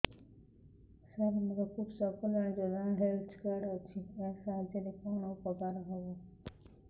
ସାର ମୋର କୃଷକ କଲ୍ୟାଣ ଯୋଜନା ହେଲ୍ଥ କାର୍ଡ ଅଛି ଏହା ସାହାଯ୍ୟ ରେ କଣ ଉପକାର ହବ